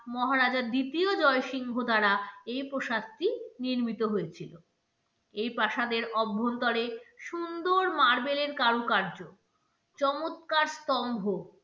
মহারাজার দ্বিতীয় জয় সিংহ দ্বারা এই প্রসাদটি নির্মিত হয়েছিল এই প্রাসাদের অভ্যন্তরে সুন্দর মার্বেলের কারুকার্য, চমৎকার স্তম্ভ